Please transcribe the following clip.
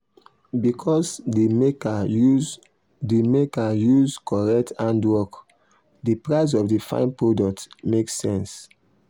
because the maker use the maker use correct handwork the price of the fine product make sense.